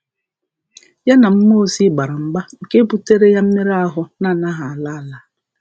Ya na mmụọ ozi gbara mgba nke buteere ya mmerụ ahụ na-anaghị ala, ala.